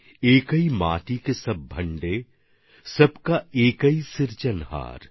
একৈ মাতি কে সভ ভান্ডে সভ কা একৌ সিরজনহার